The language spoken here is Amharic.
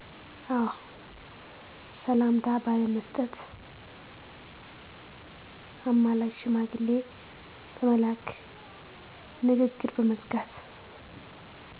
አዎ ሰላምታ ባለመስጠት፣ አማላጅ ሽማግሌ በመላክ፣ ንግግር በመዝጋት